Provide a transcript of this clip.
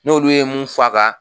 N'olu ye mun f'a kan